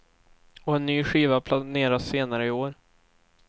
Och en ny skiva planeras senare i år.